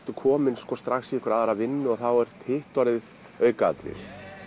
kominn í aðra vinnu og þá er hitt orðið aukaatriði